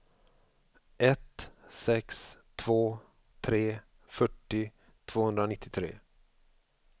ett sex två tre fyrtio tvåhundranittiotre